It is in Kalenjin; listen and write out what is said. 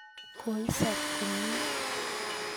koisop komnye?